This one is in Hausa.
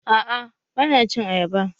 A'a bana cin ayaba